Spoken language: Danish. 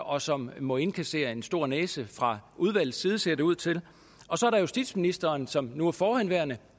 og som må indkassere en stor næse fra udvalgets side ser det ud til og så er der justitsministeren som nu er forhenværende